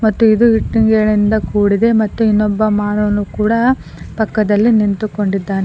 ಮತ್ತು ಇದು ಇಟ್ಟಂಗಿಗಳಿಂದ ಕೂಡಿದೆ ಮತ್ತು ನೀನೊಬ್ಬ ಮಾನವನು ಕೂಡ ಪಕ್ಕದಲ್ಲಿ ನಿಂತುಕೊಂಡಿದ್ದಾನೆ.